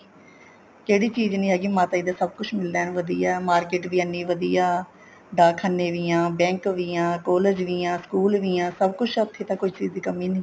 ਕਿਹੜੀ ਚੀਜ਼ ਨਹੀਂ ਹੈਗੀ ਮਾਤਾ ਜੀ ਦੇ ਸਭ ਕੁੱਝ ਮਿਲਦਾ ਐਨ ਵਧੀਆ market ਐਨੀ ਵਧੀਆ ਡਾਕਖਾਨੇ ਵੀ ਆ bank ਵੀ ਆ college ਵੀ ਆ school ਵੀ ਆ ਸਭ ਕੁੱਛ ਉੱਥੇ ਕੋਈ ਚੀਜ਼ ਦੀ ਕਮੀ ਨਹੀਂ